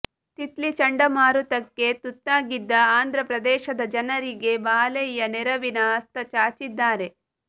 ತಿತ್ಲಿ ಚಂಡಮಾರುತಕ್ಕೆ ತುತ್ತಾಗಿದ್ದ ಆಂಧ್ರ ಪ್ರದೇಶದ ಜನರಿಗೆ ಬಾಲಯ್ಯ ನೆರವಿನ ಹಸ್ತಚಾಚಿದ್ದಾರೆ